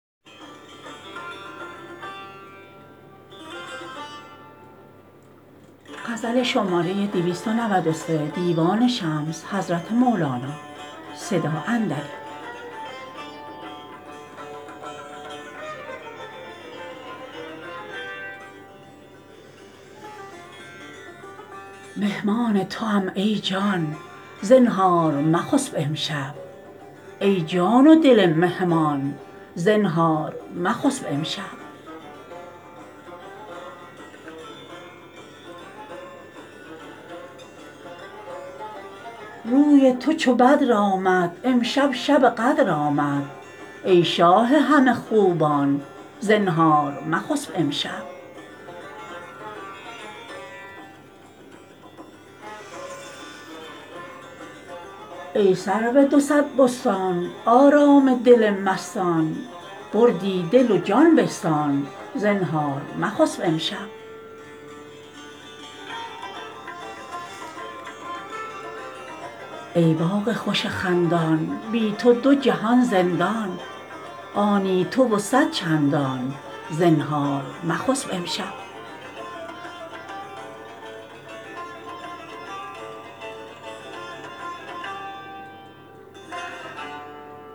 مهمان توام ای جان زنهار مخسب امشب ای جان و دل مهمان زنهار مخسب امشب روی تو چو بدر آمد امشب شب قدر آمد ای شاه همه خوبان زنهار مخسب امشب ای سرو دو صد بستان آرام دل مستان بردی دل و جان بستان زنهار مخسب امشب ای باغ خوش خندان بی تو دو جهان زندان آنی تو و صد چندان زنهار مخسب امشب